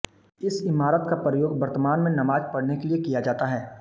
इस इमारत का प्रयोग में वर्तमान में नमाज पढ़ने के लिए किया जाता है